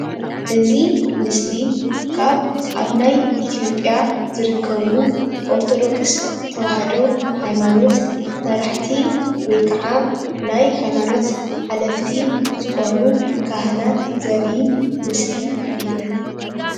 እዚ ምስሊ እዚ ካብ ናይ ኢ/ያ ዝርከቡ ኦርተዶክስ ተዋህዶ ሃይማኖት መራሕቲ ወይ ክዓ ናይ ሃይማኖት ሓለፍቲ ዝኮኑ ካህናት ዘርኢ ምስሊ እዩ፡፡